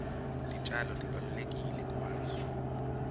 titjalo tibalulekile kubantfu